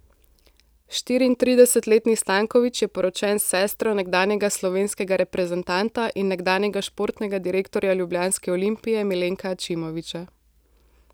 Štiriintridesetletni Stanković je poročen s sestro nekdanjega slovenskega reprezentanta in nekdanjega športnega direktorja ljubljanske Olimpije Milenka Ačimovića.